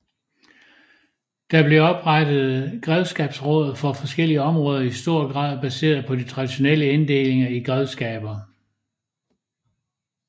Der blev oprettet grevskabsråd for forskellige områder i stor grad baseret på de traditionelle inddelinger i grevskaber